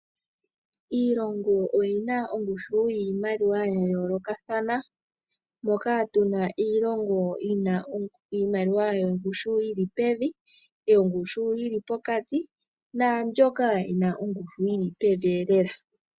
Iilongo oyina ongushu yiimaliwa yayoolokathana, moka tuna iilongo yina iimaliwa yongushu yilipevi, yongushu yili pokati nambyoka yina yongushu yili pevi lela.